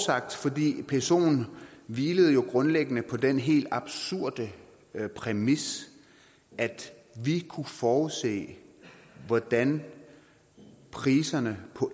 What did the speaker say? psoen hvilede jo grundlæggende på den helt absurde præmis at vi kunne forudse hvordan priserne på